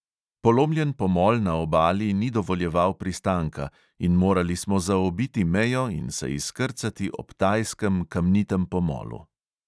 Polomljen pomol na obali ni dovoljeval pristanka in morali smo zaobiti mejo in se izkrcati ob tajskem kamnitem pomolu.